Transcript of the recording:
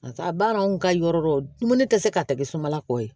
A baara anw ka yɔrɔ dɔ dumuni tɛ se ka ta kɛ suman kɔ ye